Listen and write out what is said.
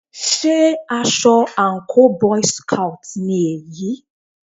Sé aṣọ àńkò boy's scout ni èyí?